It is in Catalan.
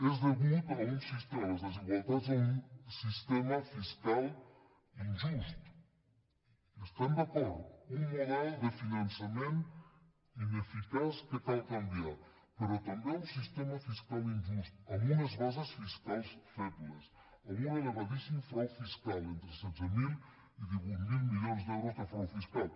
són degudes les desigualtats a un sistema fiscal in·just hi estem d’acord un model de finançament ine·ficaç que cal canviar però també a un sistema fiscal injust amb unes bases fiscals febles amb un elevadís·sim frau fiscal entre setze mil i divuit mil milions d’euros de frau fiscal